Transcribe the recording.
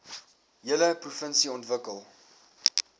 hele provinsie ontwikkel